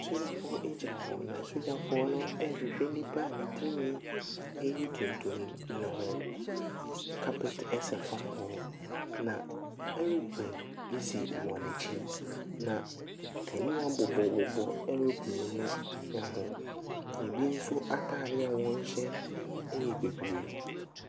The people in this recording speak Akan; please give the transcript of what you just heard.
Asogyafoɔ gyina hɔ, na asogyafoɔ no rehwehwɛ nipa ne tirinwi yɛ tuntum no ho. Carpet sa fam hɔ, na aeroplane si wɔn akyi, na kanea bobɔ bobɔ aeroplane no ho. Ebi nso atareɛ a wɔhyɛ yɛ bibire.